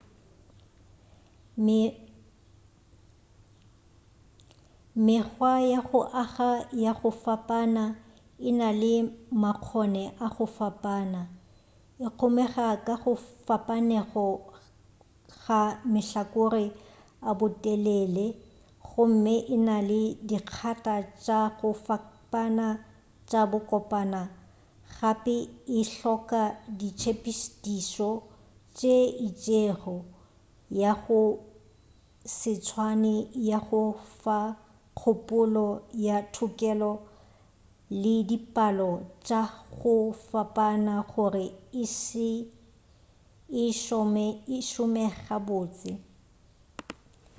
mekgwa ya go aga ya go fapana e na le makgone a go fapana e kgomega ka go fapanego ga mahlakore a botelele gomme e na le dikgata tša go fapana tša bokopana gape e hloka ditshepedišo tše itšego ya go se tswane ya go fa kgopolo ya thokelo le dipalo tša go fapana gore e šome gabotse